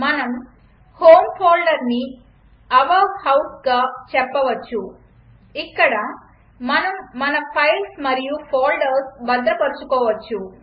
మనం హోమ్ ఫోల్డర్ని ఔర్ houseగా చెప్పవచ్చు ఇక్కడ మనం మన ఫైల్స్ మరియు ఫోల్డర్స్ భద్రపరచుకోవచ్చు